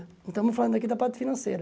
Estamos falando aqui da parte financeira.